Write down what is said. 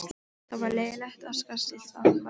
Það var leyfilegt og skattskylt athæfi.